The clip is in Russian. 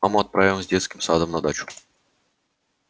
маму отправим с детским садом на дачу